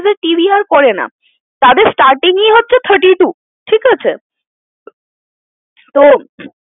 TV আর করে না তাদের starting ই হচ্ছে thirty-two ঠিকাছে তো